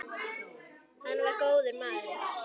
Hann var góður maður.